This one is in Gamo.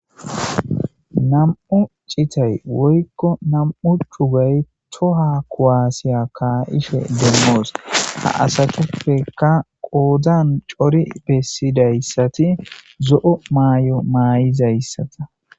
nam7u citay woykko nam7u cugay toha kuaasiya kaayishe demmoos ha asatuppeka qoodzan cori bessidayssati zo7o maay7o maay7izayssata